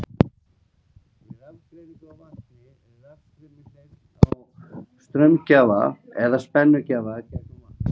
Við rafgreiningu á vatni er rafstraumi hleypt frá straumgjafa eða spennugjafa gegnum vatn.